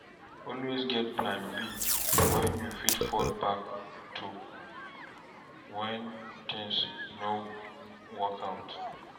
Always get plan B wey you fit fall back to when things no work out